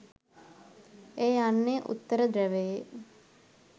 එය යන්නේ උත්තර ධ්‍රැවයේ